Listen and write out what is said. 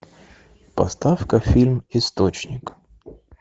поставь ка фильм источник